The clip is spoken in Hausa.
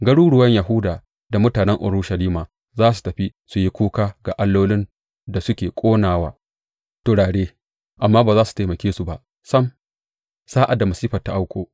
Garuruwan Yahuda da mutanen Urushalima za su tafi su yi kuka ga allolin da suke ƙona wa turare, amma ba za su taimake su ba sam sa’ad da masifar ta auku.